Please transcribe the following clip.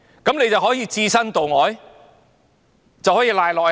那便可以置身度外、推諉於下屬了嗎？